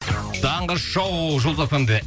таңғы шоу жұлдыз эф эм де